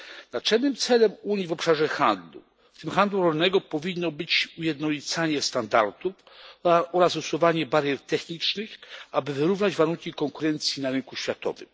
Naczelnym celem Unii w obszarze handlu, w tym handlu rolnego powinno być ujednolicanie standardów oraz usuwanie barier technicznych, aby wyrównać warunki konkurencji na rynku światowym.